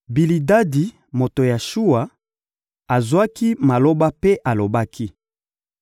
Bilidadi, moto ya Shuwa, azwaki maloba mpe alobaki: